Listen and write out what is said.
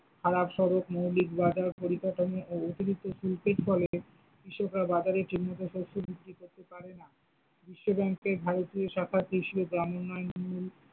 সারে আট শতক মৌলিক বাজার পরিকাঠামো ও অতিরিক্ত শুল্কের ফলে কৃষকরা বাজারে ঠিকমতো শস্য বিক্রি করতে পারে না, বিশ্বব্যাংকে ভারতীয় শাখার কৃষি ও গ্রাম উন্নয়ন।